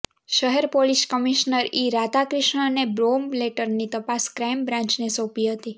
શહેર police commissioner E રાધાક્રિષ્ણને bomb લેટરની તપાસ ક્રાઇમ બ્રાન્ચને સોંપી હતી